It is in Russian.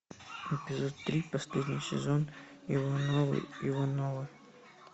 эпизод три последний сезон ивановы ивановы